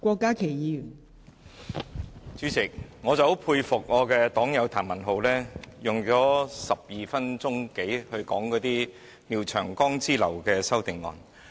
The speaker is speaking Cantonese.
代理主席，我很佩服我的黨友譚文豪議員，他花了12多分鐘說廖長江議員之流的修正案。